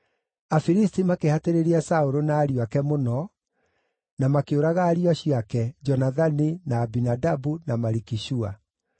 Afilisti makĩhatĩrĩria Saũlũ na ariũ ake mũno, na makĩũraga ariũ acio ake, Jonathani, na Abinadabu, na Malikishua.